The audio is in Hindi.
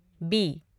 बी